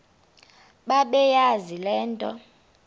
bebeyazi le nto